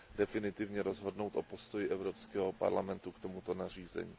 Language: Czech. definitivně rozhodnout o postoji Evropského parlamentu k tomuto nařízení.